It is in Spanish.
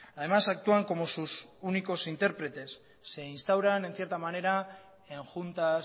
además actúan como sus únicos intérpretes se instauran en cierta manera en juntas